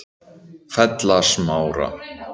Fellasmára